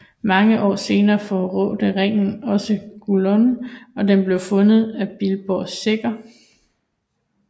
Mange år senere forrådte ringen også Gollum og den blev fundet af Bilbo Sækker